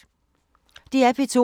DR P2